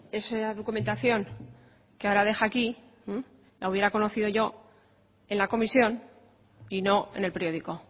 esa documentación que ahora deja aquí la hubiera conocido yo en la comisión y no en el periódico